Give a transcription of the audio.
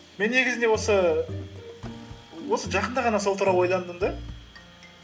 мен негізінде осы жақында ғана сол туралы ойландым да